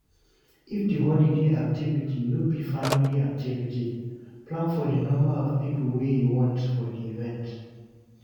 If di holiday activity no be family activity, plan for di number of pipo wey you want for di event